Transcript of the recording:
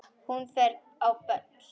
Hún fer á böll!